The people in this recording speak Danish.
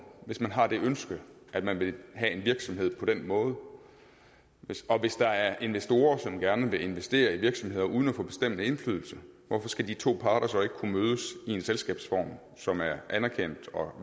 hvis man har det ønske at man vil have en virksomhed på den måde og hvis der er investorer som gerne vil investere i virksomheder uden at få bestemmende indflydelse hvorfor skal de to parter så ikke kunne mødes i en selskabsform som er anerkendt og